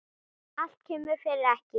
Allt kemur fyrir ekki.